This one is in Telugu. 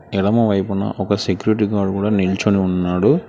ఎడమవైపున ఒక సెక్యూరిటీ గార్డ్ కూడా నిల్చుని ఉన్నాడు.